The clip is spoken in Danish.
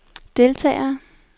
deltagere